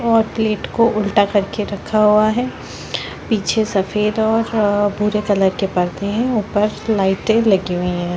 और प्लेट को उल्टा कर के रखा हुआ है पीछे सफ़ेद और भूरे कलर के पर्दे है ऊपर लाइटें लगी हुई हैं।